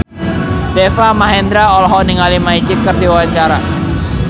Deva Mahendra olohok ningali Magic keur diwawancara